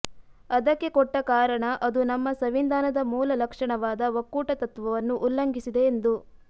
ಅದಕ್ಕೆ ಕೊಟ್ಟ ಕಾರಣ ಅದು ನಮ್ಮ ಸಂವಿಧಾನದ ಮೂಲ ಲಕ್ಷಣವಾದ ಒಕ್ಕೂಟತತ್ವವನ್ನು ಉಲ್ಲಂಘಿಸಿದೆ ಎಂದು